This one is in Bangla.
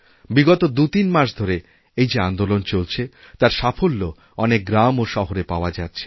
বিগতদুতিন মাস ধরে এই যে আন্দোলন চলছে তার সাফল্য অনেক গ্রাম ও শহরে পাওয়া যাচ্ছে